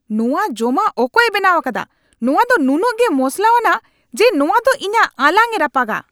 ᱱᱚᱣᱟ ᱡᱚᱢᱟᱜ ᱚᱠᱚᱭᱮ ᱵᱮᱱᱟᱣ ᱟᱠᱟᱫᱟ ? ᱱᱚᱣᱟ ᱫᱚ ᱱᱩᱱᱟᱹᱜ ᱜᱮ ᱢᱚᱥᱞᱟᱣᱟᱱᱟᱜ ᱡᱮ ᱱᱚᱣᱟ ᱫᱚ ᱤᱧᱟᱜ ᱟᱞᱟᱝᱮ ᱨᱟᱯᱟᱜᱼᱟ ᱾